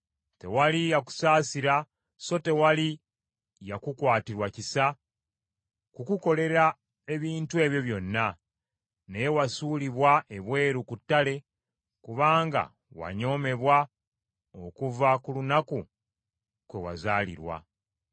Tewali yakusaasira so tewali yakukwatirwa kisa kukukolera ebintu ebyo byonna, naye wasuulibwa ebweru ku ttale, kubanga wanyoomebwa okuva ku lunaku kwe wazaalirwa.